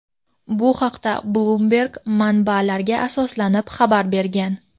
Bu haqda "Bloomberg" manbalarga asoslanib xabar bergan.